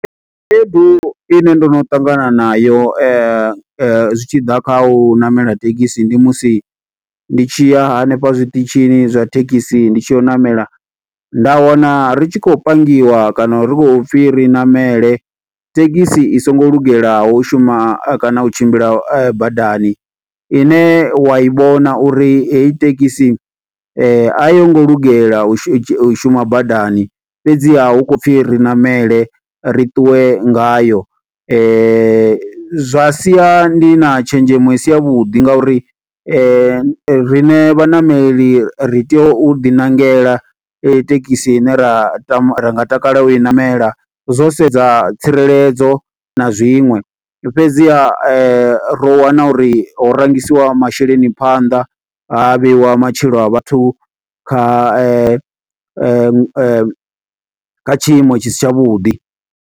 Khaedu ine ndo no ṱangana nayo, zwi tshi ḓa kha u ṋamela thekhisi. Ndi musi ndi tshi ya hanefha zwiṱitshi zwa thekhisi, ndi tshi ya u ṋamela. Nda wana ri tshi khou pangiwa kana ri khou pfi ri ṋamele, thekhisi i songo lungelaho u shuma kana u tshimbila badani. Ine u wa i vhona uri heyi thekisi ayi ngo lugela u shuma badani, fhedziha hu khou pfi ri ṋamele. Ri ṱuwe ngayo zwa sia ndi na tshenzhemo i si ya vhuḓi. Ngauri riṋe vhaṋameli ri tea u ḓi ṋangela thekhisi ine ra ra nga tama u i namela. Zwo sedza tsireledzo na zwiṅwe, fhedziha ro wana ha uri ho rangisiwa masheleni phanḓa, ha vheiwa matshilo a vhathu kha kha tshiimo tshi si tshavhuḓi.